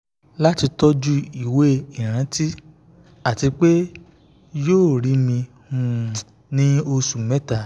lati tọju iwe-iranti ati pe yoo rii mi um ni oṣu mẹta um